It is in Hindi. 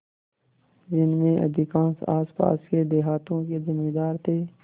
जिनमें अधिकांश आसपास के देहातों के जमींदार थे